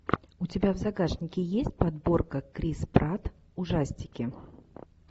у тебя в загашнике есть подборка крис пратт ужастики